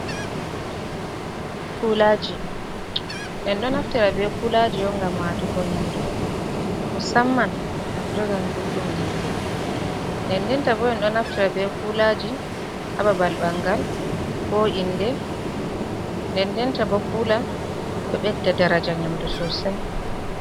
Kulaaji ,en ɗon naftira be kulaaji on ngam watugo nyamdu. Musamman ngam jogan gulɗum nyamdu. Ndendenta bo en ɗo naftira be kulaaji a babal ɓanngal, ko innde .Ndendenta bo kuula ɗo ɓedda daraja nyamdu sosay.